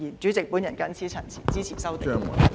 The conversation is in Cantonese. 主席，我謹此陳辭，支持修訂。